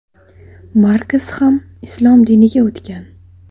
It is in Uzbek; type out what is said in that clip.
Markes ham islom diniga o‘tgan.